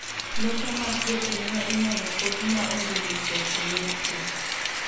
Lope mag jopinyno inyalo pogi ma onge ndikruok e yor chik.